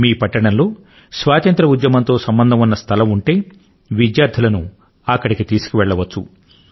మీ పట్టణం లో స్వాతంత్ర్య ఉద్యమం తో సంబంధం గల స్థలం ఉంటే విద్యార్థులను అక్కడికి తీసుకుపోవచ్చు